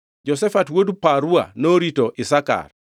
Jehoshafat wuod Parua norito Isakar;